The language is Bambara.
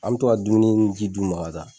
An bi tɔ ka dumuni ni ji d'u ma ka taa.